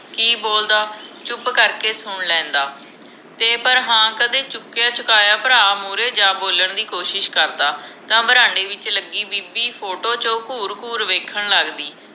ਕਿ ਬੋਲਦਾ ਚੁੱਪ ਕਰਕੇ ਸੁਣ ਲੈਂਦਾ ਤੇ ਪਰ ਹਾਂ ਕਦੇ ਚੁਕਿਆ ਚੁਰਾਇਆ ਭਰਾ ਮਹੂਰੇ ਜਾ ਬੋਲਣ ਦੀ ਕੋਸ਼ਿਸ਼ ਕਰਦਾ ਤਾਂ ਬਰਾਂਡੇ ਵਿਚ ਲਗੀ ਬੀਬੀ ਫੋਟੋ ਚ ਘੂਰ ਘੂਰ ਵੇਖਣ ਲਗਦੀ